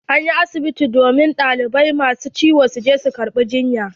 An yi asibiti ne domin ɗalibai ma su ciwo su je su karɓa jiyya.